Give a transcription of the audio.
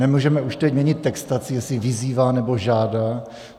Nemůžeme už teď měnit textaci, jestli vyzývá nebo žádá.